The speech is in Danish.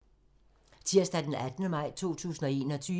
Tirsdag d. 18. maj 2021